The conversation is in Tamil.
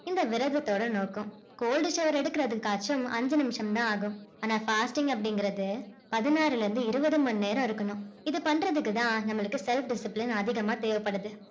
இந்த விரதத்தோட நோக்கம் cold shower எடுக்கறதுக்காச்சும் ஐஞ்சு நிமிஷம் தான் ஆகும். ஆனா fasting அப்படிங்கிறது பதினாறு ல இருந்து இருபது நேரம் இருக்கணும். இத பண்றத்துக்கு தான் நம்மளுக்கு self discipline அதிகமா தேவப்படுது